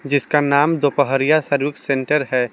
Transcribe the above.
इसका नाम Dopahariya service centre है।